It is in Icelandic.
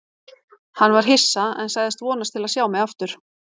Hann var hissa, en sagðist vonast til að sjá mig aftur.